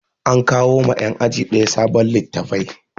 An kawo ma yan aji ɗaya sabon littafai